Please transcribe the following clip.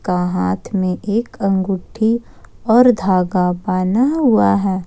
हाथ में एक अंगूठी और धागा पहना हुआ है।